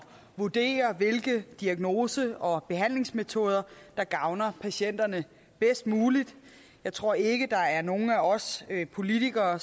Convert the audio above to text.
vurdere hvilke diagnose og behandlingsmetoder der gavner patienterne bedst muligt jeg tror ikke at der er nogen af os politikere